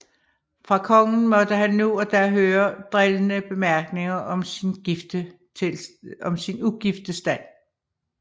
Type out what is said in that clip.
Fra kongen måtte han nu og da høre drillende bemærkninger om sin ugifte stand